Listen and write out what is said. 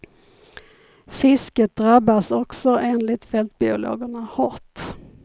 Fisket drabbas också enligt fältbiologerna hårt.